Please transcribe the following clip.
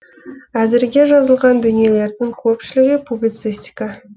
әзірге жазылған дүниелердің көпшілігі публицистика